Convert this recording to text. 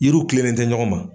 Yiriw tilen ni tɛ ɲɔgɔn ma